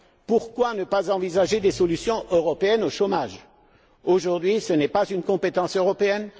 Pourquoi ne pas envisager des solutions européennes au chômage? Aujourd'hui, ce n'est pas une compétence européenne.